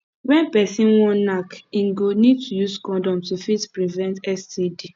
when person wan knack im go need to use condom to fit prevent std